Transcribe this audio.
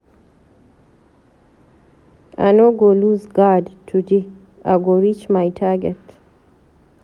I no go loose guard today, I go reach my target.